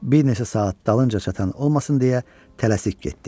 Bir neçə saat dalınca çatan olmasın deyə tələsik getdi.